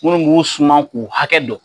Munnu b'u suman k'u hakɛ don